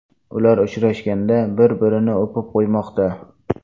Ular uchrashganida bir-birini o‘pib qo‘ymoqda .